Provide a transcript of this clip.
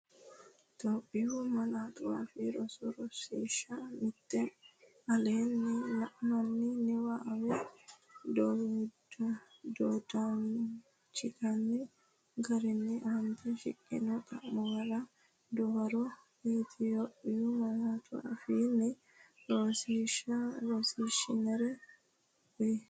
Itophiyu Malaatu Afii Roso Rosiishsha Mite Aleenni la’ini niwaawe wodanchitini garinni aante shiqqino xa’muwara dawaro Itophiyu malaatu afiinni rosiisaanchi’nera uuyye.